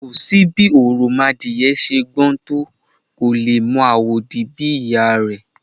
Kò sí bí òròmọadìyẹ ṣe gbọ́n tó, kò lè mọ àwòdì bí ìyá a rẹ̀. /